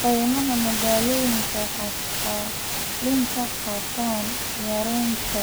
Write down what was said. Kaymaha magaalooyinka waxay kaalin ka qaataan yareynta